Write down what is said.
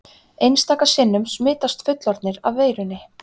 Einstaka sinnum smitast fullorðnir af veirunni.